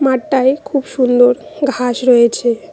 মাঠটায় খুব সুন্দর ঘাস রয়েছে।